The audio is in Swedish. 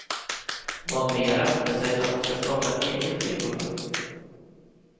Vad mera, det sägs att hon skall starta eget skivbolag.